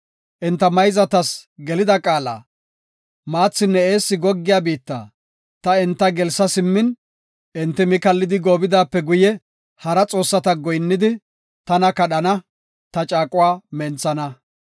Enta mayzatas gelida qaalada, maathinne eessi goggiya biitta ta enta gelsa simmin, enti mi kallidi goobidaape guye, hara xoossata goyinnidi, tana kadhana; ta caaquwa menthana.